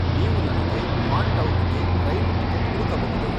ನೀವು ನನಗೆ ಮಾಂಟೌಕ್ಗೆ ರೈಲು ಟಿಕೆಟ್ ಹುಡುಕಬಹುದೇ?